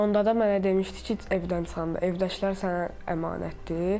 Onda da mənə demişdi ki, evdən çıxanda, evdəkilər sənə əmanətdir.